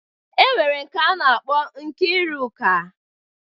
E nwere nke a na-akpọ Nkiruka.